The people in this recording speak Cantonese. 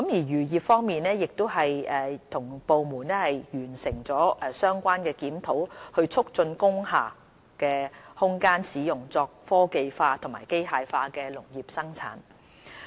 漁業方面，我們已與相關部門完成檢討，以促進工廈空間使用作科技化和機械化的農業生產。